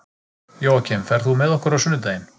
Jóakim, ferð þú með okkur á sunnudaginn?